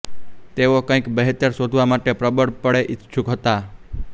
તેઓ કંઈક બહેતર શોધવા માટે પ્રબળપણે ઈચ્છુક હતા